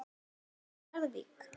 Nýju Jórvík.